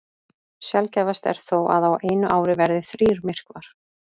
Sjaldgæfast er þó að á einu ári verði þrír myrkvar.